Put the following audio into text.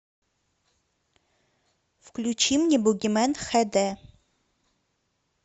включи мне бугимен хд